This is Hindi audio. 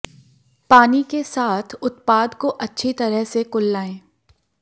पानी के साथ उत्पाद को अच्छी तरह से कुल्लाएं